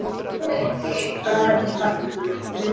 Svo fæddist barnið.